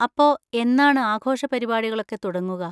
അപ്പൊ, എന്നാണ് ആഘോഷപരിപാടികളൊക്കെ തുടങ്ങുക?